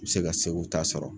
N bɛ se ka SEGU ta sɔrɔ.